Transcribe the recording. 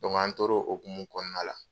Dɔnku ani t'o ko hukumu kɔnɔna la